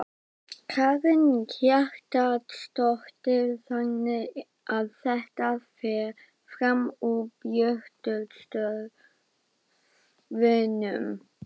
Karen Kjartansdóttir: Þannig að þetta fer fram úr björtustu vonum?